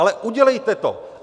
Ale udělejte to.